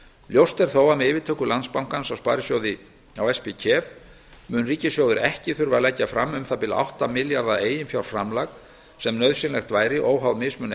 ljóst er þó að með yfirtöku landsbankans á spkef mun ríkissjóður ekki þurfa að leggja fram um það bil átta milljarða eiginfjárframlag sem nauðsynlegt væri óháð mismun